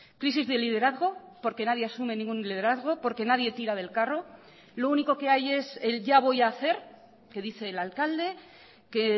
crisis de liderazgo porque nadie asume ningún liderazgo porque nadie tira del carro lo único que hay es el ya voy a hacer que dice el alcalde que